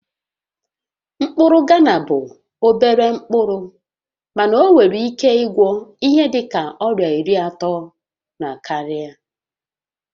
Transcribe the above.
Mkpụrụ Ghana bụ obere mkpụrụ mana ọ nwere ike ịgwọ ihe dịka ọrịa iri atọ na karịa